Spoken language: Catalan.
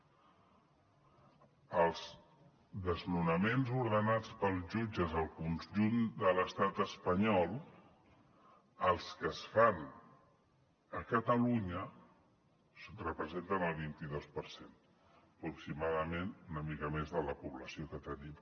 dels desnonaments ordenats pels jutges al conjunt de l’estat espanyol els que es fan a catalunya representen el vint i dos per cent aproximadament una mica més de la població que tenim